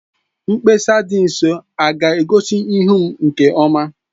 Mkpesa dị nso a ga-egosi ihu m nke ọma?